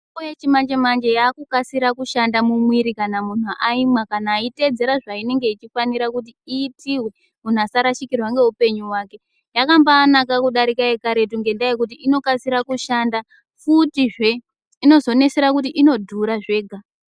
...ombo yechimanje-manje yaakukasira kushanda mumwiiri kana munhu aimwa kana aiteedzera zvainenge ichifanira kuti iitiwe munhu asarashikirwa ngeupenyu hwake. Yakambaanaka kudarika yekaretu ngendaa yekuti inokasira kushanda futizve. Inozonesera kuti inodhura zvega.